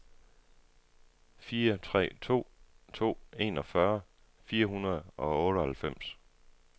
fire tre to to enogfyrre fire hundrede og otteoghalvfems